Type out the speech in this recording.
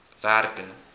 werke